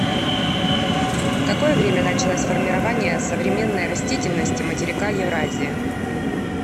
в какое время началось формирование современной растительности материка евразии